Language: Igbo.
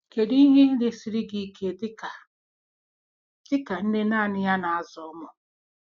Kedu ihe na-esiri gị ike dị ka dị ka nne naanị ya na-azụ ụmụ?